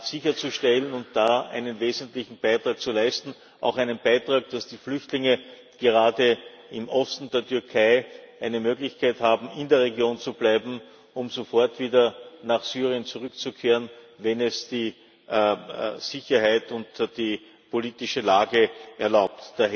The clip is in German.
sicherzustellen und da einen wesentlichen Beitrag zu leisten, auch einen Beitrag, dass die Flüchtlinge gerade im Osten der Türkei eine Möglichkeit haben, in der Region zu bleiben, um sofort wieder nach Syrien zurückzukehren, wenn es die Sicherheit und die politische Lage erlauben.